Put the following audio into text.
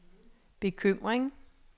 bekymring